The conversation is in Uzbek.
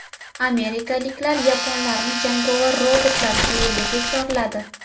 Amerikaliklar yaponlarni jangovar robotlar dueliga chorladi.